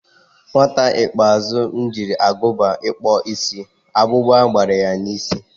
Nwata ikpeazụ m jiri Agụba kpụọ isi, akpukpa gbara ya n'isi